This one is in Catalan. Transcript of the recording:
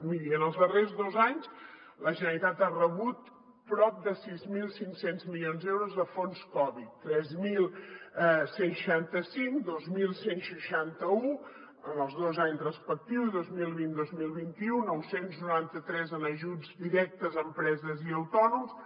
miri en els darrers dos anys la generalitat ha rebut prop de sis mil cinc cents milions d’euros de fons covid tres mil cent i seixanta cinc dos mil cent i seixanta un en els dos anys respectius dos mil vint dos mil vint u nou cents i noranta tres en ajuts directes a empreses i autònoms